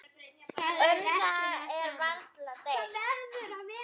Um þetta er varla deilt.